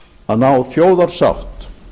að ná þjóðarsátt